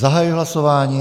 Zahajuji hlasování.